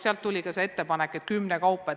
Neilt tuli ka ettepanek, et tulla kokku kümnekaupa.